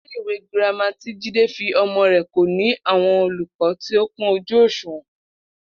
Ilé ìwé girama tí Jídé fi o̩mo̩ rè̩ kò ní àwo̩n olùkó̩ tí ó kún ojú òs̩ùwò̩n